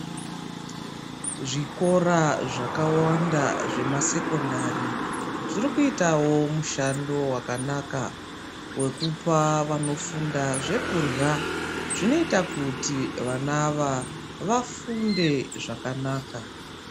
Zvikora zvakawanda zvemasekondari zviri kuitawo mushando wakanaka wekupa vanofunda zvekurha, zvinoita kuti vana ava vafunde zvakanaka.